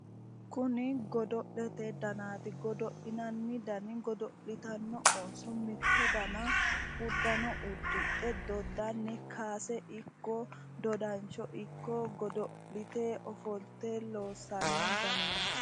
Kuni godo'lete danaati. Godo'linanni dani godo'litanno ooso mitto dana uddanno uddidhe doddanni kaase ikko dodansho ikko godo'lite ofolte loossanno danaati.